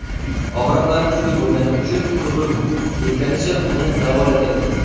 Og‘riqlari kuchli bo‘lgani uchun qurbim yetganicha uni davolatyapman.